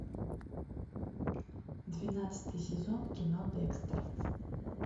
двенадцатый сезон кино декстер